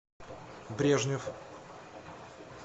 брежнев